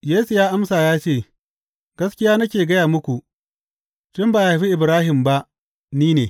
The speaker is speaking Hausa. Yesu ya amsa ya ce, Gaskiya nake gaya muku, tun ba a haifi Ibrahim ba, ni ne!